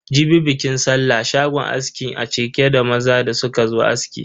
Jibi bikin sallah, shagon askin a cike da maza da suka zo aski.